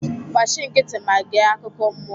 gbachi nkịtị ma gee akukọ mmụọ